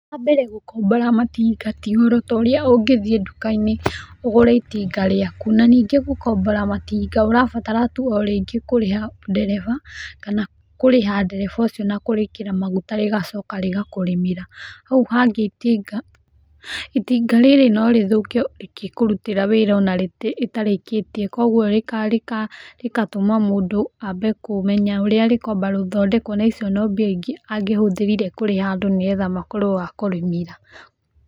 Wa mbere gũkombora matinga ti ũhoro ta ũrĩa ũngĩthiĩ duka-inĩ ũgũre itinga rĩaku, na ningĩ gũkombora matinga ũrabatara tu o rĩngĩ kũrĩha ndereba, kana kũrĩha ndereba ũcio na kũrĩkĩra maguta rĩgacoka rĩgakũrĩmĩra, hau hangĩ itinga, itinga rĩrĩ no rĩthũke rĩgĩkũrutĩra wĩra o na rĩtarĩkĩtie, kũguo rĩgatũma mũndũ ambe kũmenya ũrĩa rĩkwamba gũthondekwo na icio no mbia ingĩ angĩhũthĩrire kũrĩha andũ nĩgetha matuĩke a kũrĩmĩra.